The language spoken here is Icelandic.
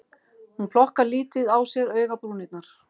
Hún plokkar lítið á sér augabrúnirnar